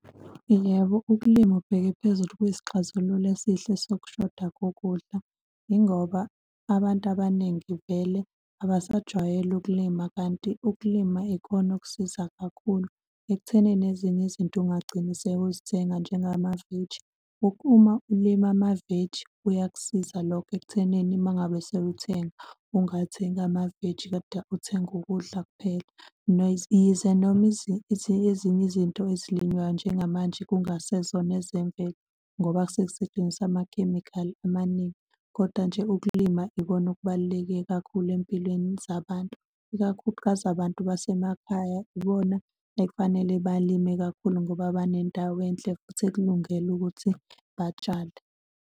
Yebo, ukulima ubheke ephezulu kwisixazululo esihle sokushoda kokudla, yingoba abantu abaningi vele abasajwayele ukulima kanti ukulima ikona okuzosiza kakhulu ekuthenini ezinye izinto ungagcina sewuzithenga njengamaveji. Ukuma ukulima amaveji kuyakusiza lokho ekuthenini uma ngabe sewuthenga ungathengi amaveji kodwa uthenge ukudla kuphela. Yize noma ezinye izinto ezilinywayo njengamanje kungasezona ezemvelo ngoba sekusetshenziswa amakhemikhali amaningi. Kodwa nje ukulima ikona okubaluleke kakhulu ey'mpilweni zabantu, ikakhulukazi abantu basemakhaya, ibona ekufanele balime kakhulu ngoba banendawo enhle futhi, ekulungele ukuthi batshale.